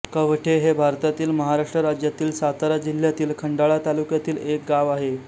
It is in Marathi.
कवठे हे भारतातील महाराष्ट्र राज्यातील सातारा जिल्ह्यातील खंडाळा तालुक्यातील एक गाव आहे